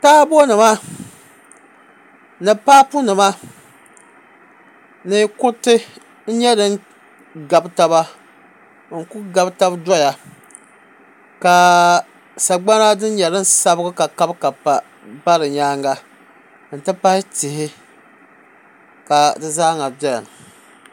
Taabo nima ni paapu nima ni kuriti n nyɛ din gabi taba n ku gabi tabi doya ka sagbana din nyɛ din sabigi ka kabi kabi pa bɛ di nyaanga n ti pahi tihi ka di zaaha doya